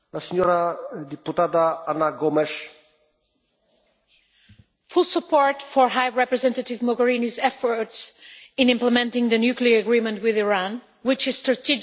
Mr President, I give full support for High Representative Mogherini's efforts in implementing the nuclear agreement with Iran, which is strategic for the EU and global security.